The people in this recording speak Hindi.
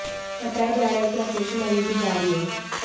बताया जा रहा है कि ऑपरेशन अभी भी जारी है